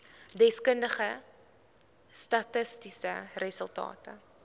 deskundige statistiese resultate